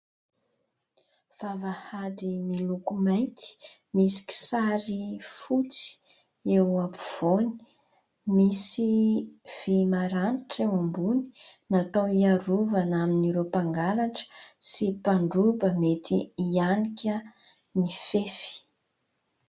Vavahady miloko mainty misy kisary fotsy eo ampovoany. Misy vỳ maranitra eo ambony natao ny iarovana amin'ireo mpangalatra sy mpandroba mety hianika ny fefy.